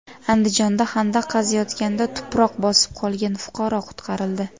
Andijonda xandaq qaziyotganda tuproq bosib qolgan fuqaro qutqarildi.